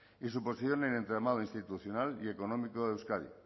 y su posición en el entramado institucional y económico de euskadi